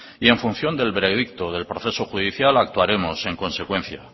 y en función del veredicto del proceso judicial actuaremos en consecuencia